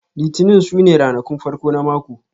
Litinin su ne ranakun farko na mako